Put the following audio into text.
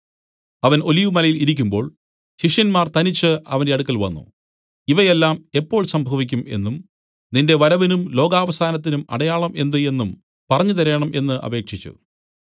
അവൻ ഒലിവുമലയിൽ ഇരിക്കുമ്പോൾ ശിഷ്യന്മാർ തനിച്ചു അവന്റെ അടുക്കൽ വന്നു ഇവയെല്ലാം എപ്പോൾ സംഭവിക്കും എന്നും നിന്റെ വരവിനും ലോകാവസാനത്തിനും അടയാളം എന്ത് എന്നും പറഞ്ഞുതരേണം എന്നു അപേക്ഷിച്ചു